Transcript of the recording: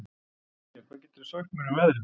Kría, hvað geturðu sagt mér um veðrið?